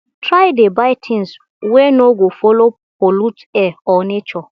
try dey buy tins wey no go follow pollute air or nature